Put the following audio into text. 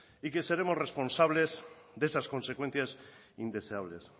y que seremos responsables de esas consecuencias indeseables